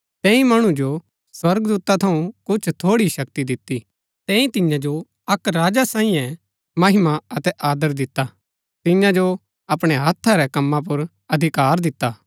तैंई मणु जो स्वर्गदूता थऊँ कुछ थोड़ी ही शक्ति दिती तैंई तियां जो अक्क राजा सांईये महिमा अतै आदर दिता तियां जो अपणै हत्था रै कमां पुर अधिकार दिता